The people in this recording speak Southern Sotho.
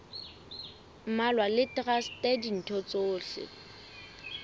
mmalwa le traste ditho tsohle